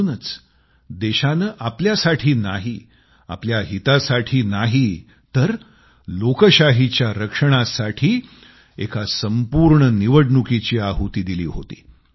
म्हणूनच देशानं आपल्यासाठी नाही आपल्या हितासाठी नाही तर लोकशाहीच्या रक्षणासाठी एका संपूर्ण निवडणुकीची आहुती दिली होती